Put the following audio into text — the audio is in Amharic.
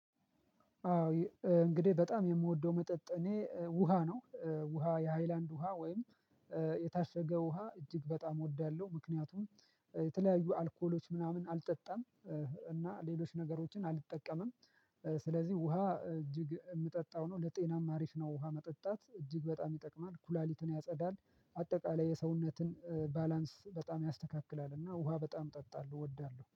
አዎ እንግዲህ በጣም የምወደው መጠጥ እኔ ውሃ ነው። ውሃ የሃይላንድ ውሃ ወይም ውሃ እጅግ በጣም እወዳለሁ። ምክንያቱም የተለያዩ አልኮሎች ምናምን አልጠጣም። እና ሌሎች ነገሮችን አልጠቀምም። ስለዚህ ውሃ እጅግ የምጠጣው ነው ለጤናማ አሪፍ ነው። ውሃ መጠጣት እጅግ በጣም ይጠቅማል ኩላሊትን ያጸዳል አጠቃላይ የሰውነትን ባላንስ በጣም ያስተካክላል። እና ውሃ በጣም እጠጣለሁ እወዳለሁ